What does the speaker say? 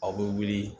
Aw bɛ wuli